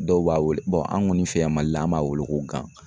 Dɔw b'a weele an' kɔni fɛ yan Mali la an b'a weele ko gan.